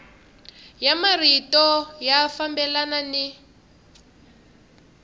ya marito ya fambelana ni